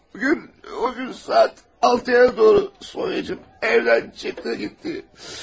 Bugün o gün saat altıya doğru Sonya'cığım evdən çıxdı, getdi.